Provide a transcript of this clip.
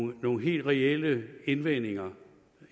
nogle helt reelle indvendinger